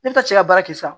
Ne tɛ se ka baara kɛ sa